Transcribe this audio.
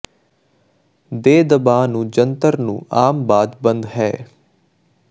ਦੇ ਦਬਾਅ ਨੂੰ ਜੰਤਰ ਨੂੰ ਆਮ ਬਾਅਦ ਬੰਦ ਹੈ